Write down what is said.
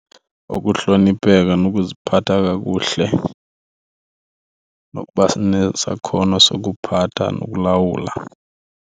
Kukuhlonipheka nokuziphatha kakuhle nokuba nesakhono sokuphatha nokulawula.